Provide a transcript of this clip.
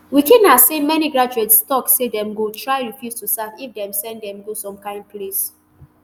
wikina say many graduates tok say dem go try refuse to serve if dem send dem go some kain place